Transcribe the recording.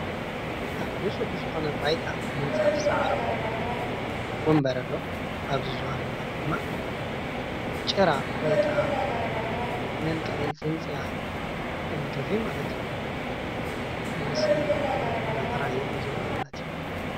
ኣብ ነፁህ ዝኾነ ባይታ ምንፃፍ ዝዓሮፎ ወንበር ኣሎ ።ኣብዚ ዝባን ወንበር ድማ ጭራ ወይ ከዓ መልቀቂ ፅንፅያ መንገፊ ማለት እዩ ምስሊ እናተርአየ እዩ ዘሎ።